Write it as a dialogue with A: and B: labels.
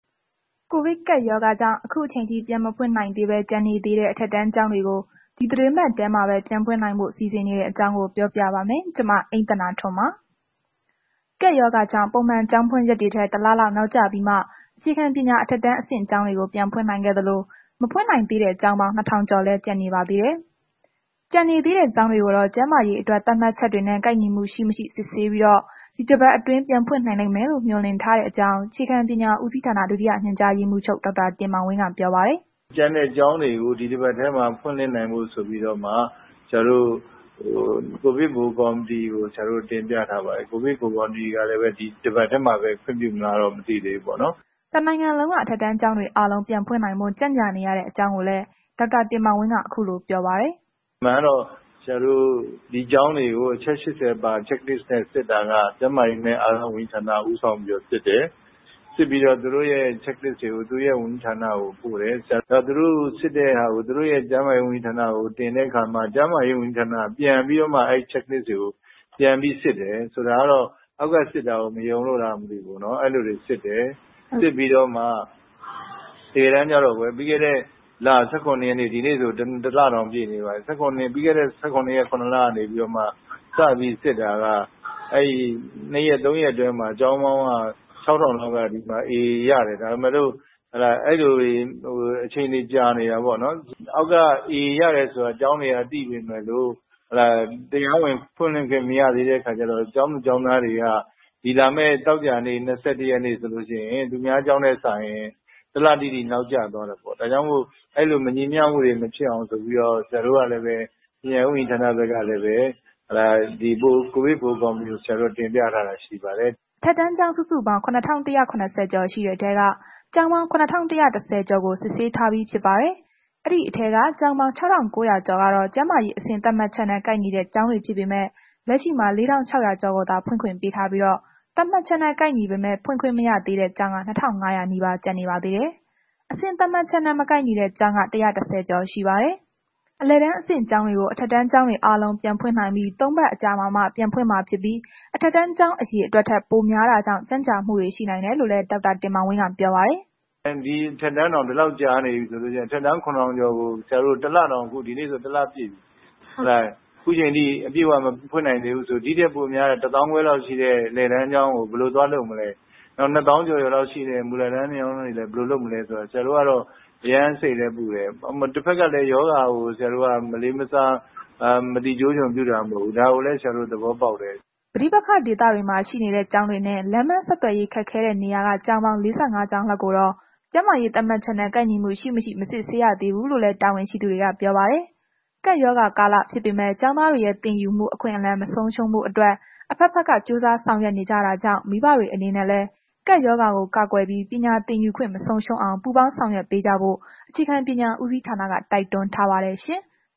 A: ကိုဗစ်ကပ်ရောဂါကြောင့် အခုအချိန်အထိ ပြန်မဖွင့်နိုင်သေးပဲ ကျန်နေသေးတဲ့ အထက်တန်းကျောင်းတွေကို ဒီသီတင်းပတ်ထဲ ပြန်ဖွင့်နိုင်ဖို့ စီစဉ်နေတဲ့အကြောင်းကို ဗွီအိုအေမြန်မာပိုင်းသတင်းထောက် မအိမ့်သန္တာထွန်းက ပြောပြပါမယ်။ ကပ်ရောဂါကြောင့် ပုံမှန်ကျောင်းဖွင့်ရက်တွေထက် ၁ လလောက် နောက်ကျပြီးမှ အခြေခံပညာ အထက်တန်း အဆင့်ကျောင်းတွေကို ပြန်ဖွင့်နိုင်ခဲ့သလို၊ မဖွင့်နိုင်သေးတဲ့ ကျောင်းပေါင်း ၂,၀၀၀ ကျော် လောက်လည်း ကျန်နေပါသေးတယ်။ ကျန်နေသေးတဲ့ ကျောင်းတွေကိုတော့ ကျန်းမာရေးအတွက် သတ်မှတ်ချက်တွေနဲ့ ကိုက်ညီမှု ရှိ-မရှိ စစ်ဆေးပြီး ဒီတစ်ပတ်အတွင်း ဖွင့်နိုင်လိမ့်မယ်လို့ မျှော်လင့်ထားကြောင်း အခြေခံပညာဦးစီးဌာန ဒုတိယညွှန်ကြားရေးမှုးချုပ် ဒေါက်တာ တင်မောင်ဝင်းက ပြောပါတယ်
B: ။ “ကျန်တဲ့ကျောင်းတွေကို ဒီတစ်ပတ်ထဲမှာ ဖွင့်ဖို့ ဆိုပြီးတော့မှ ဆရာတို့က ကိုဗစ် ဗဟိုကော်မတီကို တင်ပြထားပါတယ်။ ကိုဗစ်ဗဟိုကော်မတီကလည်းပဲ ဒီတစ်ပတ်ထဲမှာပဲ ခွင့်ပြုမလားတော့ မသိသေးဘူးပေါ့နော်။
A: ” တစ်နိုင်ငံလုံးက အထက်တန်းကျောင်းတွေအားလုံး ပြန်ဖွင့်နိုင်ဖို့ ကြန့်ကြာနေရတဲ့ အကြောင်းရင်းကိုလည်း ဒေါက်တာတင်မောင်ဝင်းက အခုလိုပြောပါတယ်။
B: “အမှန်ကတော့ ဒီကျောင်းတွေကို အချက် ၈၀ ပါ Check Lists တွေနဲ့စစ်တာက ကျန်းမာရေးနှင့် အားကစားဝန်ကြီးဌာနက ဦးဆောင်ပြီးတော့ စစ်တယ်။ စစ်ပြီးတော့ သူတို့အဲ့တာတွေကို သူတို့ရဲ့ ကျန်းမာရေးဝန်ကြီးဌာနကို ပို့တယ်။ သူတိုစစ်တဲ့ဟာကို ကျန်းမာရေးဝန်ကြီးဌာနကို တင်တဲ့အခါမှာ ကျန်းမာရေးဝန်ကြီးဌာနက အဲ့ဒါကို ပြန်ပြီးတော့ စစ်တယ်။ ဆိုတော့ အောက်က စစ်တာကိုမယုံလို့လားတော့မသိဘူး။ တကယ်တမ်းက ပြီးခဲ့တဲ့လ ၁၇ ရက်ကတည်းက ဒီနေ့ဆို တစ်လတောင်ပြည့်နေပါပြီ။ ပြီးခဲ့တဲ့လ စစစ်ကတည်းက အဲ့ဒီ ၂ ရက် ၃ ရက်အတွင်းမှာ ကျောင်းပေါင်း ၆,၀၀၀ လောက်က A ရတယ်။ ဒါပေမယ့်လို့ အဲ့လိုတွေနဲ့ အချိန်တွေကြာနေတာပေါ့နော်။ အောက်က ကျောင်းတွေက A ရတယ်ဆိုတာ သိပေမယ့်လို့ တရားဝင်ဖွင့်လှစ်ခွင့်မရသေးတဲ့အခါကျတော့ ကျောင်းသူ ကျောင်းသားတွေက ဒီလာမယ့် သောကြာနေ့ ၂၁ ရက်နေ့ဆိုလို့ရှိရင် သူများကျောင်းထက်စာရင် တစ်လတိတိနောက်ကျသွားတာပေါ့။ ဒါကြောင့်မို့ အဲ့လို မညီမျှမှုတွေ မဖြစ်အောင်ဆိုပြီးတော့ ဆရာတို့ကလည်း ပညာရေးဝန်ကြီးဌာနဘက်ကလည်း ကိုဗစ်ဗဟို ကော်မတီကို တင်ပြထားတာရှိပါတယ်။
A: ” အထက်တန်းကျောင်း စုစုပေါင်း ၇,၁၇၀ ကျော်ရှိတဲ့ထဲက ကျောင်းပေါင်း ၇,၁၁၀ ကျော်ကို စစ်ဆေးထားပြီးဖြစ်ပါတယ်။ အဲ့ဒီထဲက ကျောင်းပေါင်း ၆,၉၀၀ ကျော်က ကျန်းမာရေးအဆင့်သတ်မှတ်ချက်နဲ့ ကိုက်ညီတဲ့ ကျောင်းတွေဖြစ်ပေမယ့် လက်ရှိမှာ ၄,၆၀၀ ကျော်ကိုသာ ဖွင့်ခွင့်ပေးထားပြီးတော့ သတ်မှတ်ချက်နဲ့ ကိုက်ညီပေးမဲ့ ဖွင့်ခွင့်မရသေးတဲ့ ကျောင်းက ၂,၅၀၀ နီးပါးကျန်နေပါသေးတယ်။ အဆင့်သတ်မှတ်ချက်နဲ့ မကိုက်ညီတဲ့ကျောင်းက ၁၁၀ ကျော်ရှိပါတယ်။ အလယ်အတန်းအဆင့်ကျောင်းတွေကို အထက်တန်းကျောင်းတွေအားလုံး ပြန်ဖွင့်နိုင်ပြီး သုံးပတ်အကြာမှာမှ ပြန်ဖွင့်မှာဖြစ်ပြီး အထက်တန်းကျောင်း အရေအတွက်ထက်ပိုများတာကြောင့် ကြန့်ကြာမှုတွေ ရှိနိုင်တယ်လို့လည်း ဒေါက်တာတင်မောင်ဝင်းက ပြောပါတယ်
B: ။ “ဒီအထက်တန်းတောင် ဒီလောက်ကြာနေပြီဆိုရင် ဒီအထက်တန်း ၇,၀၀၀ ကျော်ကို ဒီနေ့ဆို တစ်လ ပြည့်ပြီ ခုချိန်ထိ အပြည့်အဝမဖွင့်နိုင်သေးဘူးဆိုတော့ ဒီထက်ပိုပြီး ၁၅,၀၀၀ လောက်ရှိတဲ့ အလယ် တန်းကျောင်းတွေကို ဘယ်လို သွားလုပ်မလဲ ၂၀,၀၀၀ ကျော်ကျော်လောက်ရှိတဲ့ မူလတန်းကျောင်း တွေကို ဘယ်လိုလုပ်မလဲဆိုတာကို အရမ်းစိတ်လဲပူတယ်။ တစ်ဘက်ကလည်း ရောဂါကို မလေးမစား မသိကျိုးကျွံ့ပြုတာ မဟုတ်ဘူး။ ဒါကိုလည်း ဆရာတို့ သဘောပေါက်တယ်။
A: ” ပဋိပက္ခဒေသတွေမှာ ရှိနေတဲ့ ကျောင်းတွေနဲ့ လမ်းပန်းဆက်သွယ်ရေးခက်ခဲတဲ့ နေရာက ကျောင်းပေါင်း ၄၅ ကျောင်းလောက်ကိုတော့ ကျန်းမာရေးသတ်မှတ်ချက်နဲ့ ကိုက်ညီမှု ရှိ-မရှိ မစစ်ဆေးရသေးဘူးလို့လည်း တာဝန်ရှိသူတွေက ပြောပါတယ်။ ကပ်ရောဂါကာလဖြစ်ပေမယ့် ကျောင်းသားတွေရဲ့ သင်ယူမှု အခွင့်အလမ်း မဆုံးရှုံးဖို့အတွက် အဘက်ဘက်က ကြိုးစားဆောင်ရွက်နေကြတာကြောင့် မိဘတွေအနေနဲ့လည်း ကပ်ရောဂါကို ကာကွယ်ပြီး ပညာသင်ယူခွင့်မဆုံးရှုံးအောင် ပူးပေါင်းဆောင်ရွက်ပေးကြဖို့ကို အခြေခံပညာဦးစီးဌာနက တိုက်တွန်းထားပါတယ်ရှင်။